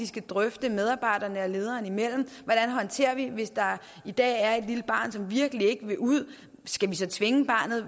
skal drøfte medarbejderne og lederen imellem hvordan håndterer vi det hvis der i dag er et lille barn som virkelig ikke vil ud skal vi så tvinge barnet